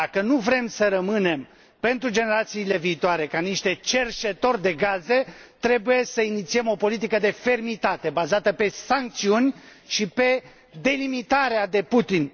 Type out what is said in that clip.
Dacă nu vrem să rămânem, pentru generațiile viitoare, niște cerșetori de gaze, trebuie să inițiem o politică de fermitate, bazată pe sancțiuni și pe delimitarea de Putin.